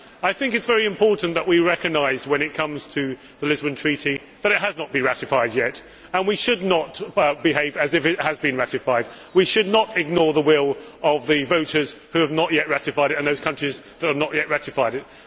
I think it is very important that we recognise, when it comes to the Lisbon Treaty, that it has not been ratified yet, and we should not behave as if it has been ratified. We should not ignore the will of the voters who have not yet ratified it and those countries that have not yet ratified it.